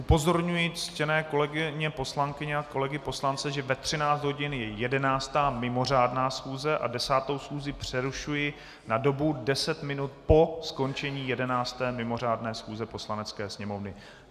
Upozorňuji ctěné kolegyně poslankyně a kolegy poslance, že ve 13 hodin je 11. mimořádná schůze a 10. schůzi přerušuji na dobu deset minut po skončení 11. mimořádné schůze Poslanecké sněmovny.